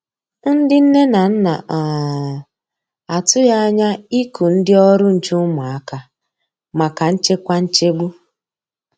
Ndi nne na nna um a tụghi anya iku ndi ọrụ nche ụmụaka maka nchekwa nchegbu.